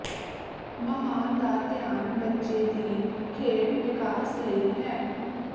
ਮਹਾਨ ਦਾ ਧਿਆਨ ਬੱਚੇ ਦੀ ਖੇਡ ਵਿਕਾਸ ਲਈ ਹੈ